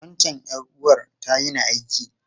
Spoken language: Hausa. Wancan ’yar’uwar ta yini aiki.